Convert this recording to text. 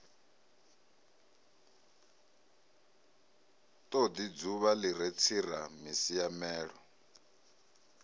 todi dzuvha li re tseramisiamelo